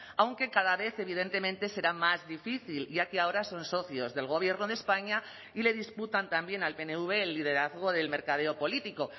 aunque cada vez evidentemente será más difícil ya que ahora son socios del gobierno de españa y le disputan también al pnv el liderazgo del mercadeo político